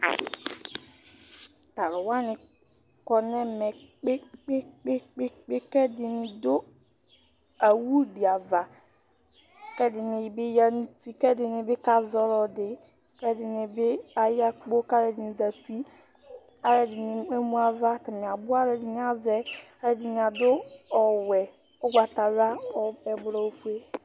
Tu alu waní kɔ nu ɛmɛ kpekpekpekpe Ku ɛɖini ɖu awuu ɖi aʋa Ku ɛɖini bi ya nu ũtí Ku ɛɖinibi ka zɔ ɔlɔɖi Ku ɛɖinibi aya kpó Ku aluɛɖini zãti Aluɛɖini kemu ãvã Atani abu Aluɛɖini avɛ, ɛdini aɖu ɔwɛ, ugbatawlã, ɔ, ɛblɔ, ofue